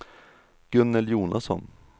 Gunnel Jonasson